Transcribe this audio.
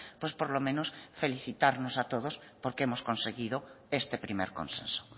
pues por lo menos felicitarnos a todos porque hemos conseguido este primer consenso